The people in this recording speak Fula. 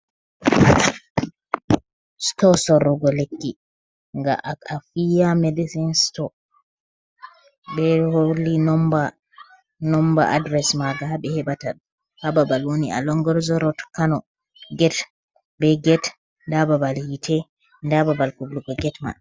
Stow sorrugo lekki nga a a iya medecin stow be holi be nomba adres manga haɓe heɓata hababal woni, along longorzorot kano get ɓe get nda babal hite nda babal kublugo get mai.